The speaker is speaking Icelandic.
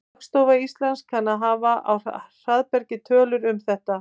Hagstofa Íslands kann að hafa á hraðbergi tölur um þetta.